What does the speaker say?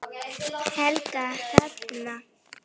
Helga Hrefna.